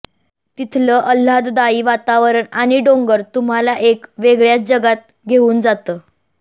तिथलं अल्हाददायी वातावरण आणि डोंगर तुम्हाला एका वेगळ्याच जगात घेऊन जातं